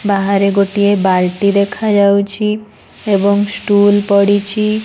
ବାହାରେ ଗୋଟିଏ ବାଲ୍ଟି ଦେଖାଯାଉଛି ଏବଂ ଷ୍ଟୁଲ ପଡି଼ଛି।